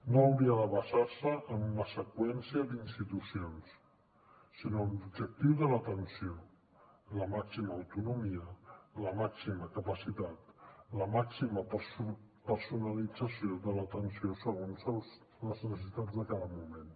no hauria de basar se en una seqüència d’institucions sinó en l’objectiu de l’atenció la màxima autonomia la màxima capacitat la màxima personalització de l’atenció segons les necessitats de cada moment